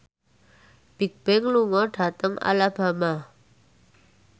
Bigbang lunga dhateng Alabama